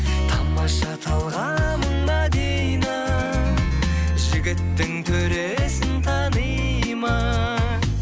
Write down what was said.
тамаша талғамың мәдина жігіттің төресін таниды ма